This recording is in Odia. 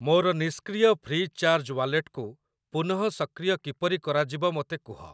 ମୋର ନିଷ୍କ୍ରିୟ ଫ୍ରି ଚାର୍ଜ୍ ୱାଲେଟକୁ ପୁନଃସକ୍ରିୟ କିପରି କରାଯିବ ମୋତେ କୁହ।